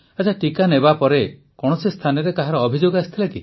ପ୍ରଧାନମନ୍ତ୍ରୀ ଟିକା ନେବାପରେ କୌଣସି ସ୍ଥାନରେ କାହାର ଅଭିଯୋଗ ଆସିଥିଲା